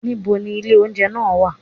Ní bo ni ilé oúnjẹ nàà wà?